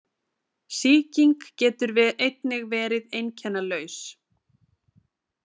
Sýking getur einnig verið einkennalaus.